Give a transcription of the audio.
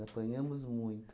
Apanhamos muito.